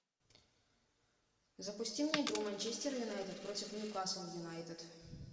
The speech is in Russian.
запусти мне игру манчестер юнайтед против ньюкасл юнайтед